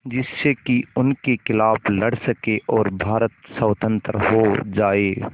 जिससे कि उनके खिलाफ़ लड़ सकें और भारत स्वतंत्र हो जाये